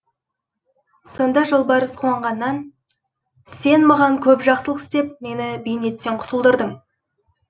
сонда жолбарыс қуанғаннан сен маған көп жақсылық істеп мені бейнеттен құтылдырдың